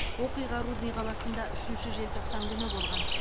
оқиға рудный қаласында үшінші желтоқсан күні болған